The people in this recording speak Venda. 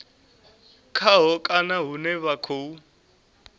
khaho kana hune vha khou